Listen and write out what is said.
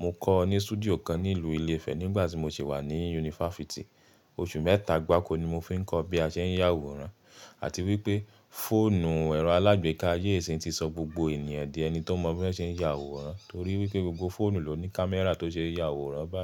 Mọ kọ́ ọ ní studio kan ní ìlú Ilé-Ifẹ̀ nígbà tí mọ ṣe wà ní yunifafiti. Oṣù mẹ́eta gbáko ní mọ fi ń kọ́ bí a ṣe ń ya àwòrán, àti wípé fóònù ẹ̀rọ alágbèéká ayé íṣìyin ń ti sọ gbogbo ènìyàn di ẹni tó mọ bí wón ṣe ń ya àwòrán, torí wípé gbogbo fóònù ló ní kámẹ́rà tó ṣe é ya àwòrán báyìí.